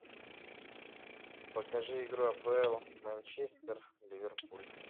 покажи игру апл манчестер ливерпуль